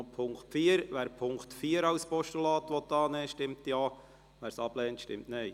Wer die Ziffer 4 annimmt, stimmt Ja, wer diese ablehnt, stimmt Nein.